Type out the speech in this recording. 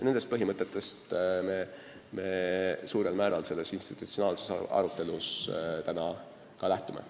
Nendest põhimõtetest me suurel määral selles institutsionaalses arutelus praegu lähtume.